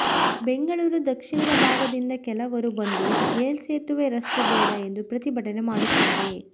ಬೆಂಗಳೂರು ದಕ್ಷಿಣದ ಭಾಗದಿಂದ ಕೆಲವರು ಬಂದು ಮೇಲ್ಸೇತುವೆ ರಸ್ತೆ ಬೇಡ ಎಂದು ಪ್ರತಿಭಟನೆ ಮಾಡುತ್ತಾರೆ